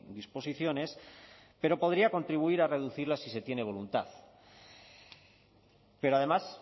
disposiciones pero podría contribuir a reducirla si se tiene voluntad pero además